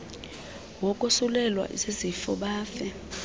wokosulelwa zizifo bafe